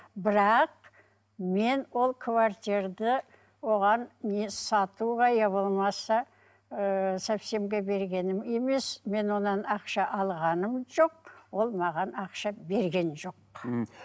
бірақ мен ол оған не сатуға иә болмаса ыыы совсемге бергенім емес мен оған ақша алғаным жоқ ол маған ақша берген жоқ мхм